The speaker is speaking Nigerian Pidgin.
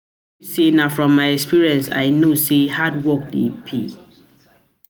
I tell you sey na from my experience I know sey hard work dey pay.